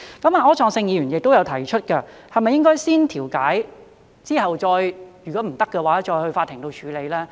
柯創盛議員亦有提出，是否應該先調解，如果不行才去法庭處理。